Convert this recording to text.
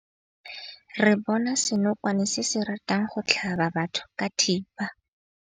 Re bone senokwane se se ratang go tlhaba batho ka thipa.